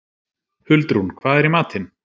Huldrún, hvað er í matinn?